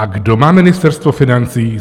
A kdo má Ministerstvo financí?